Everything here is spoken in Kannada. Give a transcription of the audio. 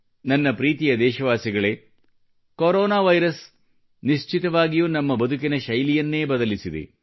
ನನ್ನ ಪ್ರೀತಿಯ ದೇಶವಾಸಿಗಳೇ ಕೊರೋನಾ ವೈರಸ್ ನಿಶ್ಚತವಾಗಿಯೂ ನಮ್ಮ ಬದುಕಿನ ಶೈಲಿಯನ್ನೇ ಬದಲಿಸಿದೆ